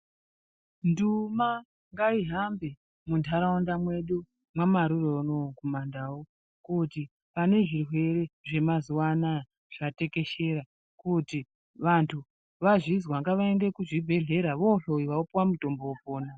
Nduma ngayihambe muntaraunda mwedu mwamaRure unowu kumaNdau, kuti ane zvirwere zvamazuwa anaya zvatekeshera, kuti vantu vazvizwa ngavaende kuzvibhedhlera vohloyiwa, vopuwa mutombo, vopona.